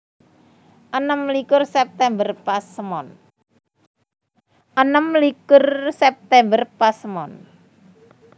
Enem likur September – Pasemon